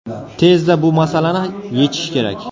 Tezda bu masalani yechish kerak.